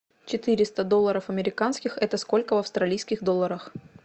четыреста долларов американских это сколько в австралийских долларах